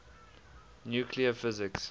nuclear physics